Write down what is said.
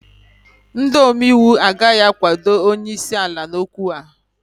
ndị omeiwu agaghị akwado onye isi ala n'okwu a